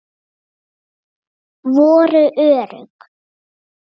Voru örugg.